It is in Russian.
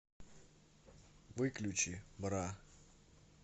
выключи бра